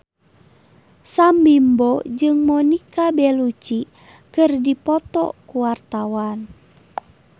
Sam Bimbo jeung Monica Belluci keur dipoto ku wartawan